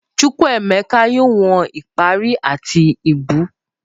Chukwemeka yoo wọn ipari ati ibú.